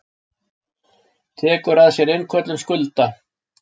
Tekur að sér innköllun skulda.